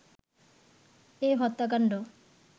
এ হত্যাকাণ্ড